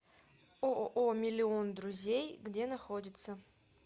ооо миллион друзей где находится